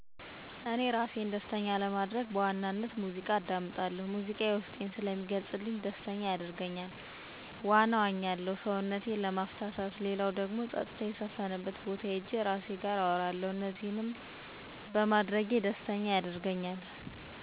እኔ እራሴን ደስተኛ ለማድረግ በዋናነት ሙዚቃ አዳምጣለሁ ሙዚቃ የዉስጤን ስለሚገልጽልኝ ደስተኛ ያደርገኛ፣ ዋና እዋኛለሁ ሰዉነቴን ለማፍታታት ሌላዉ ፀጥታ የሰፈነበት ቦታ ሄጄ እራሴ ጋር አወራለሁ እነዚህን ማድረግ ደስተኛ ያደርገኛል።